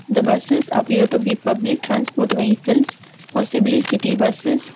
the buses appear to be public transport vehicles possibly city buses.